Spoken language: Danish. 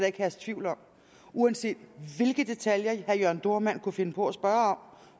ikke herske tvivl om uanset hvilke detaljer herre jørn dohrmann kunne finde på at spørge